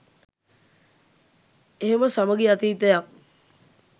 එහෙම සමගි අතීතයක්